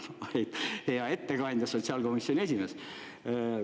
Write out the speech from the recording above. Hea ettekandja, sotsiaalkomisjoni esimees!